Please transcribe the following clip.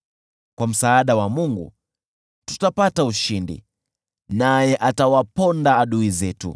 Kwa msaada wa Mungu tutapata ushindi, naye atawaponda adui zetu.